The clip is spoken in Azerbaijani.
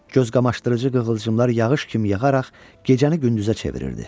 Gözqamaşdırıcı qığılcımlar yağış kimi yağaraq gecəni gündüzə çevirirdi.